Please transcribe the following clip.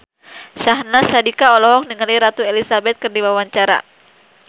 Syahnaz Sadiqah olohok ningali Ratu Elizabeth keur diwawancara